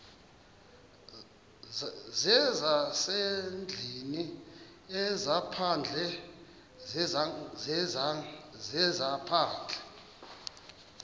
zezasendlwini ezaphandle zezaphandle